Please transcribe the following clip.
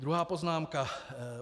Druhá poznámka.